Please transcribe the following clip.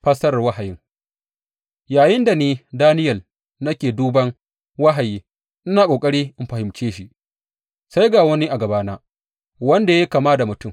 Fassarar wahayin Yayinda ni, Daniyel, nake duban wahayi ina ƙoƙari in fahimce shi, sai ga wani a gabana wanda ya yi kama da mutum.